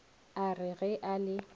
a re ge a le